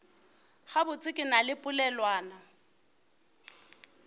gabotse ke na le polelwana